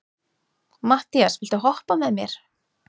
Mattías, viltu hoppa með mér?